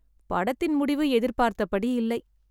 படத்தின் முடிவு எதிர்பார்த்த படி இல்லை